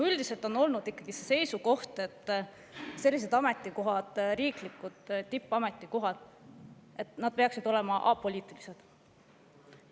Üldiselt on olnud ikkagi see seisukoht, et riiklikud tippametikohad peaksid olema apoliitilised.